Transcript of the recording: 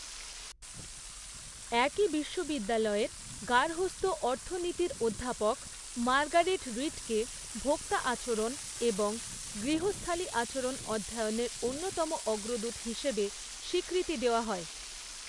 একই বিশ্ববিদ্যালয়ের গার্হস্থ্য অর্থনীতির অধ্যাপক মার্গারেট রিডকে ভোক্তা আচরণ এবং গৃহস্থালি আচরণ অধ্যয়নের অন্যতম অগ্রদূত হিসেবে স্বীকৃতি দেওয়া হয়।